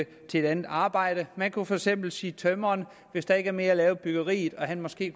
til et andet arbejde man kunne for eksempel sige at tømreren hvis der ikke er mere at lave i byggeriet og han måske